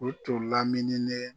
O tun lamini ne.